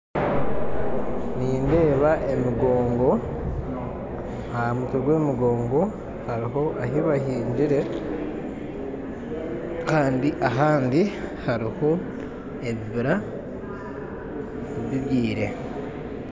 Nindeeba emigongo aha mitwe gw'emigongo hariho ahu bahingire kandi ahandi hariho ebibira bibyire